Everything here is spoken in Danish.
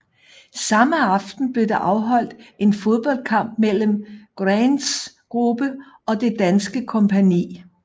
Samme aften blev der afholdt en fodboldkamp mellem Grants gruppe og det danske kompagni